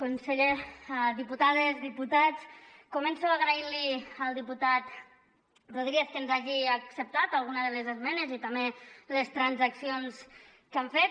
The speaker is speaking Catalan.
conseller diputades diputats començo agraint li al diputat rodríguez que ens hagi acceptat alguna de les esmenes i també les transaccions que hem fet